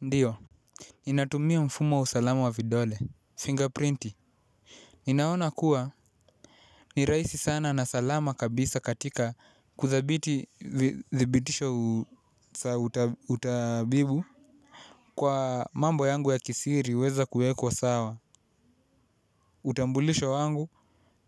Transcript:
Ndio, ninatumia mfumo wa usalama wa vidole, fingerprinti. Ninaona kuwa ni rahisi sana na salama kabisa katika kuthabiti thibitisho tabibu kwa mambo yangu ya kisiri huweza kuwekwa sawa. Utambulisho wangu